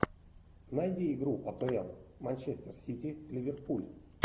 найди игру апл манчестер сити ливерпуль